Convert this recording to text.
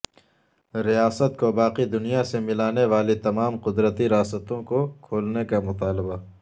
ریاست کو باقی دنیا سے ملا نے والی تمام قدرتی راستوں کو کھولنے کا مطالبہ